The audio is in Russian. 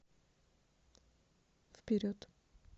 вперед